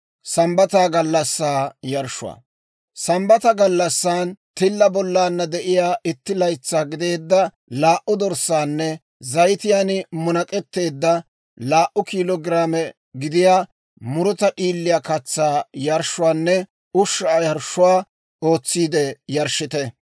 « ‹Sambbata gallassan, tilla bollana de'iyaa itti laytsaa gideedda laa"u dorssaanne zayitiyaan munak'etteedda laa"u kiilo giraame gidiyaa muruta d'iiliyaa katsaa yarshshuwaanne ushshaa yarshshuwaa ootsiide yarshshite.